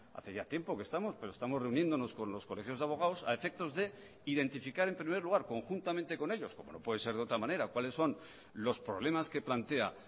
hace ya tiempo que estamos pero estamos reuniéndonos con los colegios de abogados a efectos de identificar en primer lugar conjuntamente con ellos como no puede ser de otra manera cuáles son los problemas que plantea